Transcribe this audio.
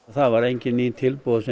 það voru engin ný tilboð